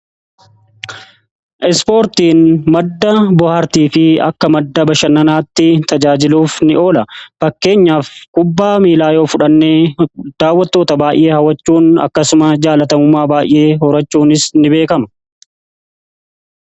ispoortiin madda bohaartii fi akka madda bashannanaatti tajaajiluuf ni oola. fakkeenyaaf kubbaa miilaa yoo fudhannee daawwatoota baay'ee hawachuun akkasuma jaalatamumaa baay'ee horachuunis ni beekama.